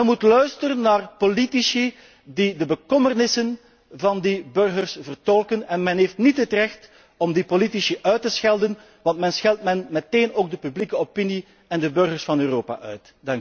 Men moet luisteren naar de politici die de bekommernissen van die burgers vertolken en men heeft niet het recht om die politici uit te schelden, want men scheldt dan meteen ook de publieke opinie en de burgers van Europa uit.